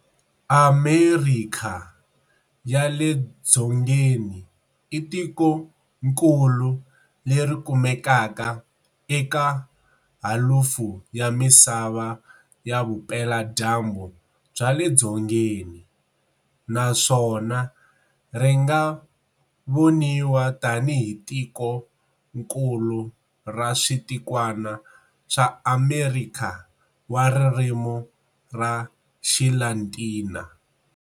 Amerikha ya le Dzongeni i tikonkulu leri kumekaka eka halufu ya misava ya vupela dyambu bya le dzongeni. Naswona ringa vonaiwa tani hi tikonkulu ra switikwana swa Amerikha wa ririmi ra xilatina.